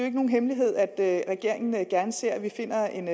ikke nogen hemmelighed at regeringen gerne ser at vi finder en